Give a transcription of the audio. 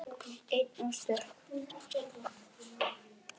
Ein og stök.